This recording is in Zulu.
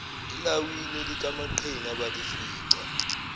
elawini likamaqhinga abalifica